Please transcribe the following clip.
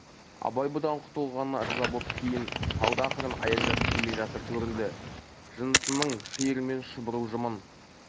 абай бұдан құтылғанына ырза боп кейін қалды ақырын аяңдап келе жатыр көрінді жынысының шиырымен шұбыру жымын